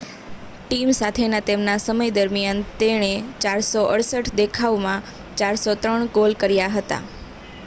team સાથેના તેમના સમય દરમિયાન તેણે 468 દેખાવમાં 403 ગોલ કર્યા હતા